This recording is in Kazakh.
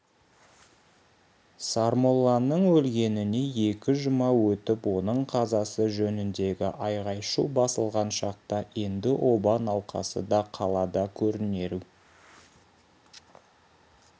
сармолланың өлгеніне екі жұма өтіп оның қазасы жөніндегі айғай-шу басылған шақта енді оба науқасы да қалада көрінеу